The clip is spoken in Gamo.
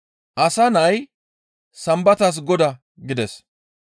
Asa Nay Sambatas Goda» gides.